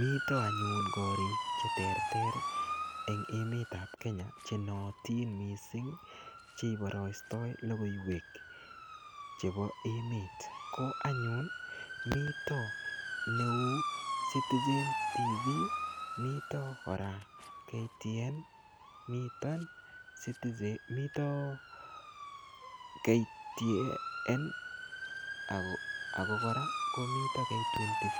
Mito anyun korik cheterter eng' emetab Kenya chenoyotin mising' cheiborostoi logoiwek chebo emet ko anyun mito neu Citizen TV mito kora KTN ako kora komito K24